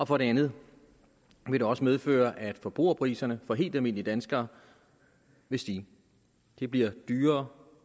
for det andet vil det også medføre at forbrugerpriserne for helt almindelige danskere vil stige det bliver dyrere